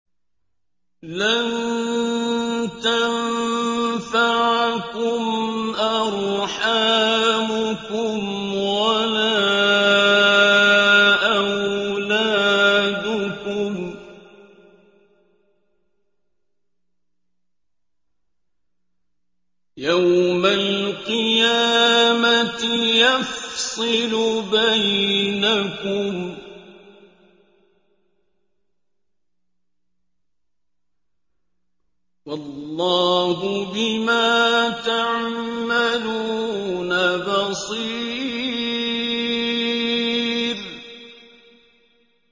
لَن تَنفَعَكُمْ أَرْحَامُكُمْ وَلَا أَوْلَادُكُمْ ۚ يَوْمَ الْقِيَامَةِ يَفْصِلُ بَيْنَكُمْ ۚ وَاللَّهُ بِمَا تَعْمَلُونَ بَصِيرٌ